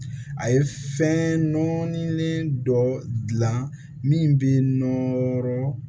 A ye fɛn nɔɔni dɔ dilan min bɛ nɔrɔ